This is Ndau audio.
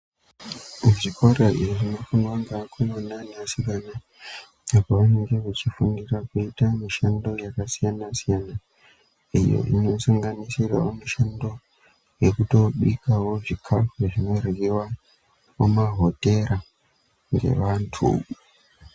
Zvikora zvinofundwa ngevakomana nevasikana apo pavanenge veifundira kuita mishando yakasiyana siyana iyo inosanganisirawo mishando yekutobikawo zvikhafu zvinoryiwa mumahotera ngevantu.